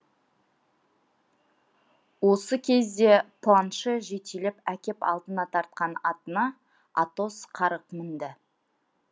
осы кезде планше жетелеп әкеп алдына тартқан атына атос қарғып мінді